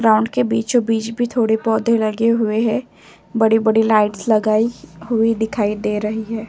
Ground के बीचों-बीच भी थोड़े पौधे लगे हुए हैं। बड़ी-बड़ी लाइटस लगाई हुई दिखाई दे रही हैं।